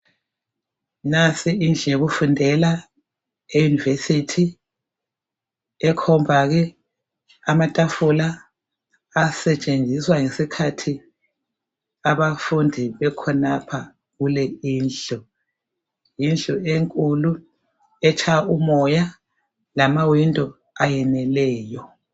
Nansi indlu yokufundela eUniversity ekhomba ke amatafula asetshenziswa ngesikhathi abafundi bekhonapha kule indlu yindlu enkulu etshaya umoya lamawindi ayeneleyo